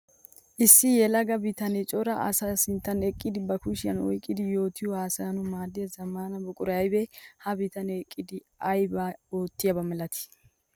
Issi yelaga bitane cora asaa sinttan eqqiddi ba kushiyan oyqqiddi yootiyo haasayanawu maadiya zamaana buquray aybbe? Ha bitane eqqiddi aybba ootiyaba milatti?